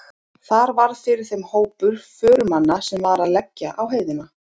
Þar varð fyrir þeim hópur förumanna sem var að leggja á heiðina.